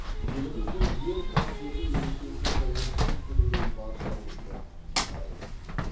еліміздің ең қастерлі мерекесі тәуелсіздік күнімен баршаңызды құттықтаймын